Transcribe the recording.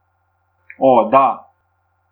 O, da!